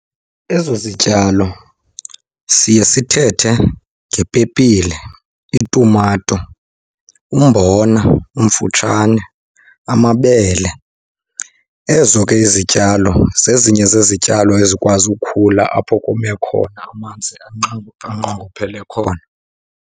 Ezo zityalo siye sithethe ngepepile, itumato, umbona omfutshane, amabele. Ezo ke izityalo zezinye zezityalo ezikwazi ukhula apho kome khona, amanzi anqongophele khona.